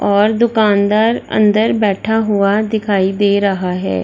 और दुकानदार अंदर बैठा हुआ दिखाई दे रहा है।